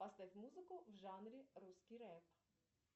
поставь музыку в жанре русский рэп